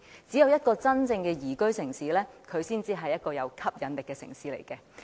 只有一個真正的宜居城市，才是一個具吸引力的城市。